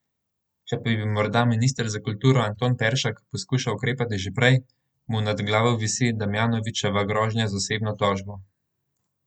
Če pa bi morda minister za kulturo Anton Peršak poskušal ukrepati že prej, mu nad glavo visi Damjanovičeva grožnja z osebno tožbo.